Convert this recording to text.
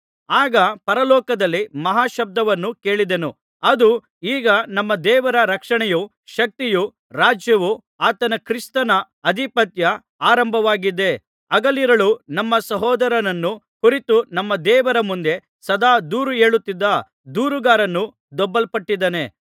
ಆಗ ಪರಲೋಕದಲ್ಲಿ ಮಹಾಶಬ್ದವನ್ನು ಕೇಳಿದೆನು ಅದು ಈಗ ನಮ್ಮ ದೇವರ ರಕ್ಷಣೆಯೂ ಶಕ್ತಿಯೂ ರಾಜ್ಯವೂ ಆತನ ಕ್ರಿಸ್ತನ ಅಧಿಪತ್ಯ ಆರಂಭವಾಗಿದೆ ಹಗಲಿರುಳು ನಮ್ಮ ಸಹೋದರರನ್ನು ಕುರಿತು ನಮ್ಮ ದೇವರ ಮುಂದೆ ಸದಾ ದೂರು ಹೇಳುತ್ತಿದ್ದ ದೂರುಗಾರನು ದೊಬ್ಬಲ್ಪಟ್ಟಿದ್ದಾನೆ